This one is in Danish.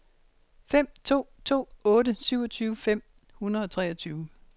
fem to to otte syvogtyve fem hundrede og treogfyrre